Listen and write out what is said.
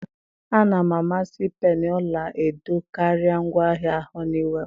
a na m amasị peni ọla edo karịa ngwaahịa Honeywell.